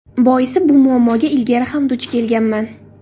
Boisi bu muammoga ilgari ham duch kelganman.